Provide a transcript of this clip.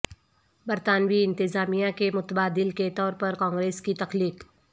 برطانوی انتظامیہ کے متبادل کے طور پر کانگریس کی تخلیق